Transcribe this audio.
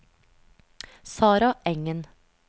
Sarah Engen